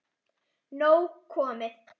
Nóg komið